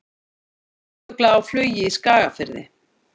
Brandugla á flugi í Skagafirði.